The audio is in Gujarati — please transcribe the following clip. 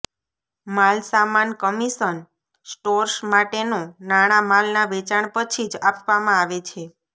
માલસામાન કમિશન સ્ટોર્સ માટેનો નાણાં માલના વેચાણ પછી જ આપવામાં આવે છે